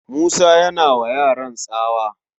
Musa yana wa yaran tsawa